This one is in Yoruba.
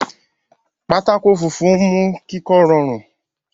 pátákó funfun mú kíkọ́ rọrùn.